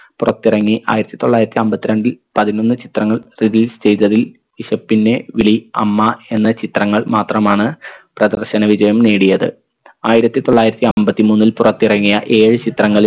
പുറത്തിറങ്ങി ആയിരത്തി തൊള്ളായിരത്തി അമ്പത്രണ്ടിൽ പതിനൊന്ന് ചിത്രങ്ങൾ release ചെയ്തതിൽ വിശപ്പിൻറെ വിളി അമ്മ എന്ന ചിത്രങ്ങൾ മാത്രമാണ് പ്രദർശന വിജയം നേടിയത് ആയിരത്തി തൊള്ളായിരത്തി അമ്പത്തി മൂന്നിൽ പുറത്തിറങ്ങിയ ഏഴ് ചിത്രങ്ങളിൽ